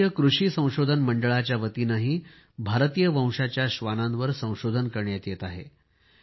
भारतीय कृषी संशोधन मंडळाच्यावतीनेही भारतीय वंशाच्या श्वानांवर संशोधन करण्यात येत आहे